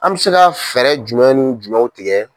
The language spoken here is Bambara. An bi se ka fɛɛrɛ jumɛnw ni jumɛnw tigɛ.